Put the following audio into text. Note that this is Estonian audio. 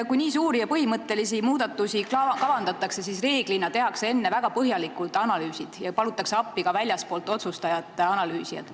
Kui nii suuri ja põhimõttelisi muudatusi kavandatakse, siis reeglina tehakse enne väga põhjalikud analüüsid ja palutakse appi analüüsijad ka väljastpoolt.